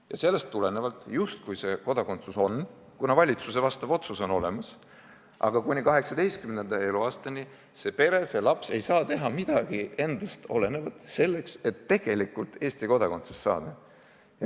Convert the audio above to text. Ja sellest tulenevalt on justkui see kodakondsus olemas – valitsuse otsus on ju tehtud –, aga kuni 18. eluaastani see pere või see laps ei saa teha midagi endast olenevat selleks, et tegelikult Eesti kodakondsust saada.